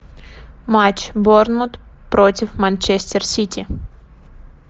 матч борнмут против манчестер сити